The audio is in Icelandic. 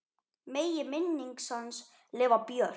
Megi minning hans lifa björt.